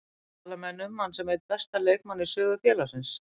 Tala menn um hann sem einn besta leikmanninn í sögu félagsins?